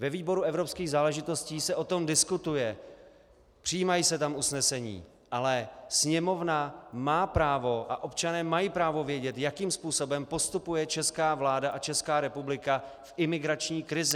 Ve výboru evropských záležitostí se o tom diskutuje, přijímají se tam usnesení, ale Sněmovna má právo a občané mají právo vědět, jakým způsobem postupuje česká vláda a Česká republika v imigrační krizi.